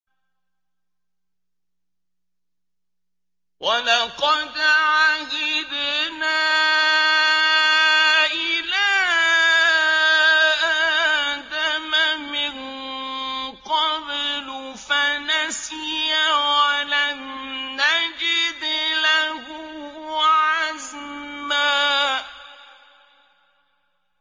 وَلَقَدْ عَهِدْنَا إِلَىٰ آدَمَ مِن قَبْلُ فَنَسِيَ وَلَمْ نَجِدْ لَهُ عَزْمًا